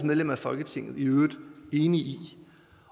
medlemmer af folketinget i øvrigt enige i